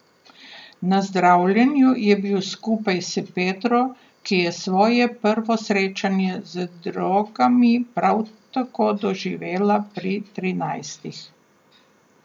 Na zdravljenju je bil skupaj s Petro, ki je svoje prvo srečanje z drogami prav tako doživela pri trinajstih.